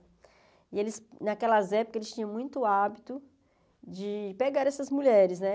E eles, naquelas épocas, eles tinham muito hábito de pegar essas mulheres, né?